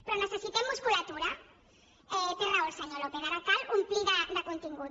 però necessitem musculatura té raó el senyor lópez ara cal omplir ho de contingut